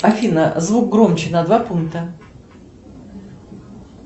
афина звук громче на два пункта